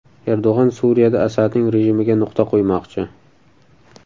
Erdo‘g‘on Suriyada Asadning rejimiga nuqta qo‘ymoqchi .